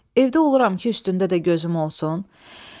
Evdə oluram ki, üstündə də gözüm olsun?